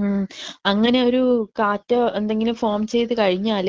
ഉം അങ്ങനെയൊരു കാറ്റ് എന്തെങ്കിലും ഫോം ചെയ്ത് കഴിഞ്ഞാൽ